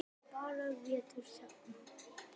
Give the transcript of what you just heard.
Það er bara vetur hérna.